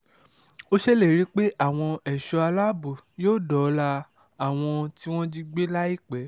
ó ṣèlérí pé àwọn ẹ̀ṣọ́ aláàbò yóò dóòlà àwọn tí wọ́n jí gbé láìpẹ́